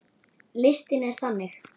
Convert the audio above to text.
Listinn er þannig